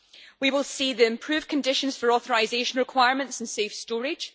We will see improved conditions for authorisation requirements and safe storage.